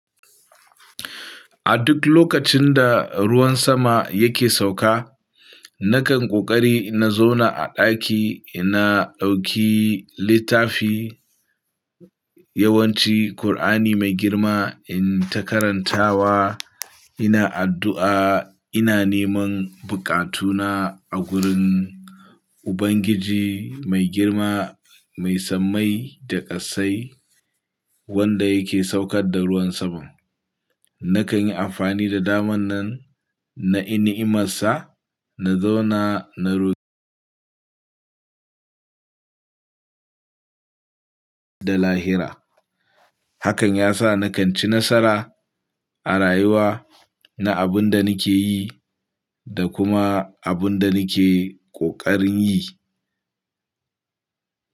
A duk lokacin da ruwan sama yake sauka, nakan ƙoƙari na zauna a ɗaki na dauki littafi, yawanci Kur'ani Mai Girma in takarantawa, ina addu'a, ina neman bukatuna a gurin Ubangiji Mai Girma Mai sammai da ƙasai wanda yake saukar da ruwan saman. Nakan yi amfani da daman nan na in'imarsa na zauna na roƙo daga Allah da lahira. Hakan yasa nakan ci nasara a rayuwa na abin da nake yi da kuma abin da nake ƙoƙarin yi.